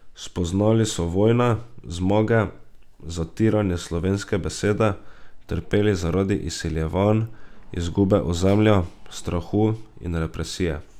Spoznali so vojne, zmage, zatiranje slovenske besede, trpeli zaradi izseljevanj, izgube ozemlja, strahu in represije.